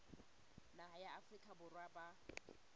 naha ya afrika borwa ba